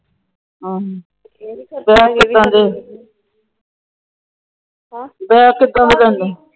Bag ਕਿਦਾਂ ਦੇ?